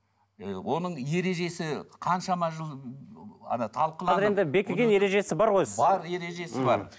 ы оның ережесі қаншама жыл ана талқыланып қазір енді бекіген ережесі бар ғой бар ережесі бар